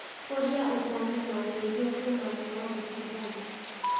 ũrĩa ũtarĩ na ũteithio kuuma nja ya Rift Valley.